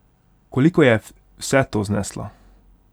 Koliko je vse to zneslo?